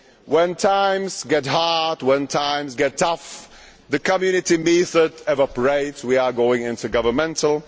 When times get hard, when times get tough, the Community method evaporates and we go into governmental.